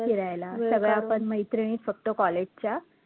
फिरायला सगळ्या आपण मैत्रिणी फक्त college च्या